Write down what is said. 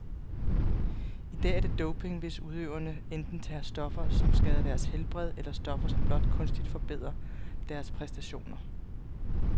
I dag er det doping, hvis udøverne enten tager stoffer, som skader deres helbred, eller stoffer, som blot kunstigt forbedrer deres præstationer.